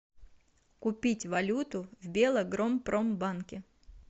купить валюту в белагропромбанке